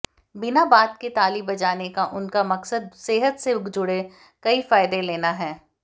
बिना बात के ताली बजाने का उनका मकसद सेहत से जुड़े कई फायदे लेना है